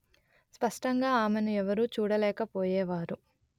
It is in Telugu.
స్పష్టంగా ఆమెను ఎవరూ చూడలేక పోయేవారు